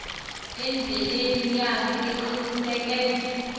endleleni yakhe aqiniseke